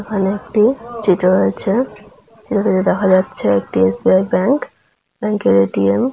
ওখানে একটু চিটে রয়েছে যেখানে দেখা যাচ্ছে একটি এস.বি.আই. ব্যাংক ব্যাংকে -র এ.টি.এম. ।